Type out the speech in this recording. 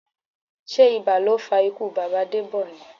Sé ibà ló fa ikú bàbá Debọ ni?